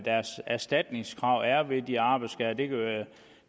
erstatningskravene er ved de arbejdsskader